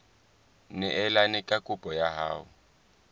neelane ka kopo ya hao